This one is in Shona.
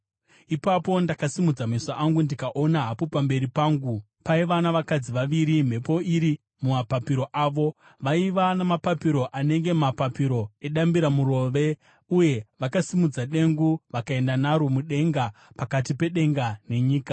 Ipapo ndakasimudza meso angu ndikaona, hapo pamberi pangu paiva navakadzi vaviri, mhepo iri mumapapiro avo! Vaiva namapapiro anenge mapapiro edambiramurove, uye vakasimudza dengu vakaenda naro mudenga pakati pedenga nenyika.